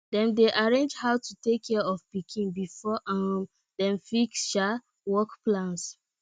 dem dey arrange how to take care of pikin before um dem fix um work plans